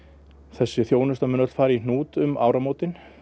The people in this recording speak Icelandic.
þessi þjónusta muni öll fari í hnút um áramótin